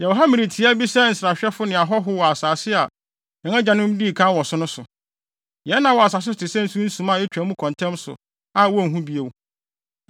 Yɛwɔ ha mmere tiaa bi sɛ nsrahwɛfo ne ahɔho wɔ asase a yɛn agyanom dii kan wɔ so no so. Yɛn nna wɔ asase so te sɛ sunsuma a etwa mu kɔ ntɛm so a wonhu bio.